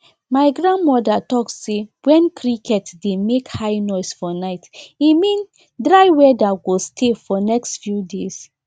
my grandmother talk say when cricket dey make high noise for night e mean dry weather go stay for next few days